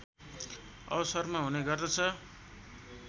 अवसरमा हुने गर्दछ